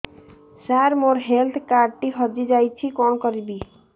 ସାର ମୋର health card ଟି ହଜି ଯାଇଛି କଣ କରିବି